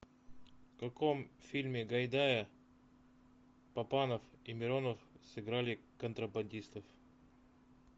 в каком фильме гайдая папанов и миронов сыграли контрабандистов